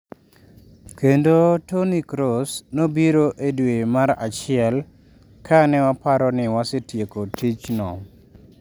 Kendo Toni Kroos nobiro e dwe mar achiel ka ne waparo ni wasetieko tichno.